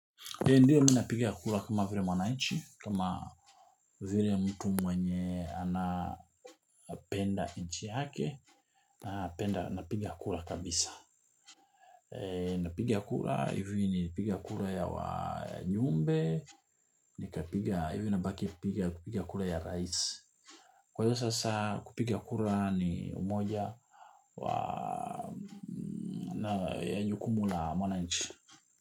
Ndiyo mimi napigia kura kama vile mwananchi, kama vile mtu mwenye anapenda nchi yake, napigia kura kabisa. Napiga kura hivi nilipiga kura ya wajumbe, hivi nabaki piga kura ya rais. Kwa hiyo sasa kupigia kura ni umoja ya jukumu la mwananchi.